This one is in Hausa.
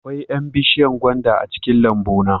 Akwai 'yan bishiyar gwanda a cikin lambuna